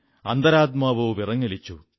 അന്തരാത്മാവോ വിറങ്ങലിച്ചു